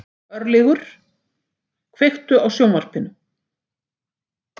Örlygur, kveiktu á sjónvarpinu.